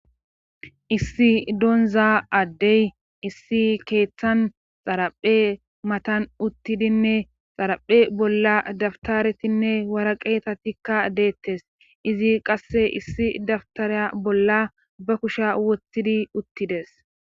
issi donza addey issi keeththan xaraphe matan uttidinne xaraphe bolla daftaretinne wara qeetatikka deettes izi qasse issi dabtareya bolla ba kusha woththidi uttides